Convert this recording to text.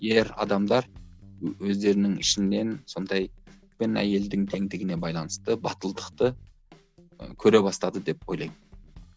ер адамдар өздерінің ішінен сондай әйелдің теңдігіне байланысты батылдықты ы көре бастады деп ойлаймын